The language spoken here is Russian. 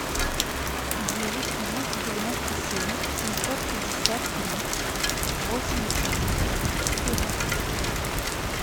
девять двести девяносто семь семьсот пятьдесят три восемьдесят девять четырнадцать